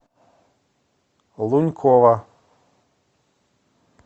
лунькова